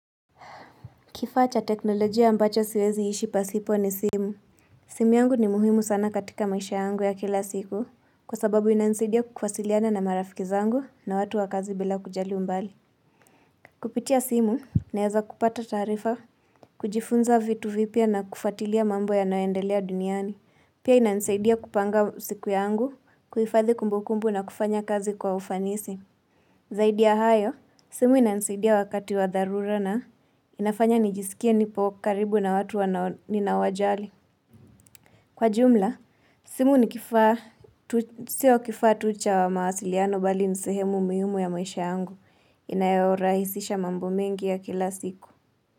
Kifaa cha teknolojia ambacho siwezi ishi pasipo ni simu. Simu yangu ni muhimu sana katika maisha yangu ya kila siku kwa sababu inainsaidia kukwasiliana na marafiki zangu na watu wa kazi bila kujali umbali. Kupitia simu naweza kupata taarifa, kujifunza vitu vipya na kufuatilia mambo yanayoendelea duniani. Pia inaninsaidia kupanga siku yangu, kuhifadhi kumbukumbu na kufanya kazi kwa ufanisi. Zaidi ya hayo, simu inanisaidia wakati wa dharura na inafanya nijisikie nipo karibu na watu wanao ninawajali. Kwa jumla, simu ni kifaa tu sio kifaa tu cha wa mahasiliano bali ni sehemu muhimu ya maisha yangu. Inayorahisisha mambo mengi ya kila siku.